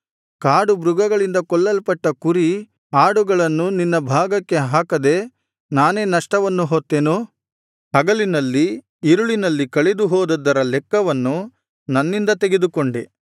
ಕಾಡುಮೃಗಗಳಿಂದ ಕೊಲ್ಲಲ್ಪಟ್ಟ ಕುರಿ ಆಡುಗಳನ್ನು ನಿನ್ನ ಭಾಗಕ್ಕೆ ಹಾಕದೆ ನಾನೇ ನಷ್ಟವನ್ನು ಹೊತ್ತೆನು ಹಗಲಿನಲ್ಲಿ ಇರುಳಿನಲ್ಲಿ ಕಳೆದು ಹೋದದ್ದರ ಲೆಕ್ಕವನ್ನು ನನ್ನಿಂದ ತೆಗೆದುಕೊಂಡೆ